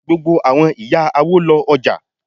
Gbogbo àwọn ìyá awo lo ọ̀já.